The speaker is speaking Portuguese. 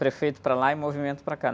Prefeito para lá e movimento para cá.